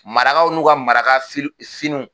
Marakaw n'u ka maraka finiw